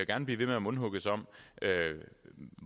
gerne blive ved med at mundhugges om